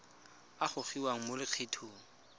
a a gogiwang mo lokgethong